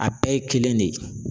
A bɛɛ ye kelen de ye.